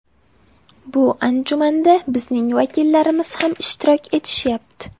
Bu anjumanda bizning vakillarimiz ham ishtirok etishyapti.